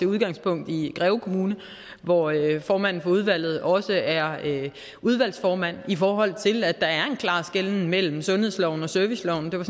udgangspunkt i greve kommune hvor formanden for udvalget også er udvalgsformand i forhold til at der er en klar skelnen mellem sundhedsloven og serviceloven det var